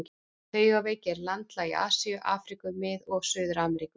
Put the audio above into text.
Taugaveiki er landlæg í Asíu, Afríku, Mið- og Suður-Ameríku.